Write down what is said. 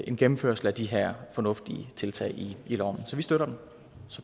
en gennemførelse af de her fornuftige tiltag i loven så vi støtter det